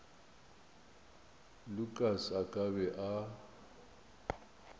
lukas a ka be a